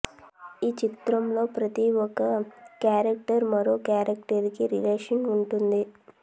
ఈ చిత్రం లో ప్రతి ఓక్క కేరక్టర్ మరో కేరక్టర్ కి రిలేషన్స్ వుంటుంది